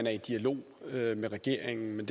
er i dialog med regeringen om